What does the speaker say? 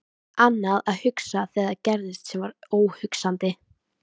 Annað að hugsa þegar það gerðist sem var óhugsandi.